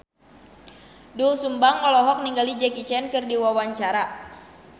Doel Sumbang olohok ningali Jackie Chan keur diwawancara